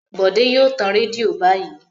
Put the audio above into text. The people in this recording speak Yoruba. Bòdé yóò tan rédíò báyìí.